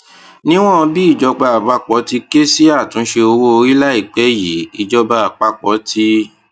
níwòn bí ìjọba àpapọ ti ké sí àtúnṣe owó orí láìpé yìí ìjọba àpapọ ti